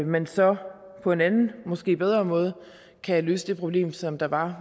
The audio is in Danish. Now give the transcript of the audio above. man så på en anden og måske bedre måde kan løse det problem som der var